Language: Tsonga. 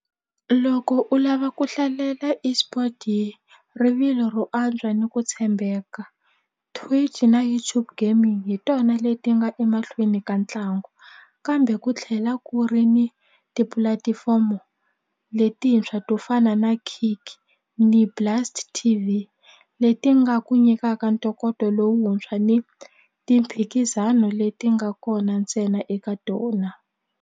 Loko u lava ku hlalela eSport hi rivilo ro antswa ni ku tshembeka Twitch na YouTube Gaming hi tona leti nga emahlweni ka ntlangu kambe ku tlhela ku ri ni tipulatifomo letintshwa to fana na kick T_V leti nga ku nyikaka ntokoto lowuntshwa ni timphikizano leti nga kona ntsena eka tona.